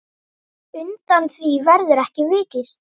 Undan því verður ekki vikist.